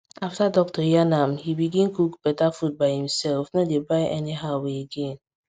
after doctor yarn am he begin cook better food by himself no dey buy anyhow again